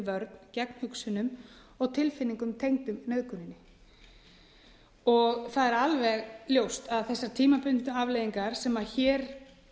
vörn gegn hugsunum og tilfinningum tengdum nauðguninni það er alveg ljóst að þessar tímabundnu afleiðingar sem hér